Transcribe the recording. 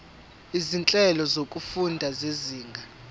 izinhlelo zokufunda zezinga